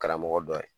Karamɔgɔ dɔ ye